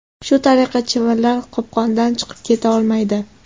Shu tariqa, chivinlar qopqondan chiqib keta olmaydi.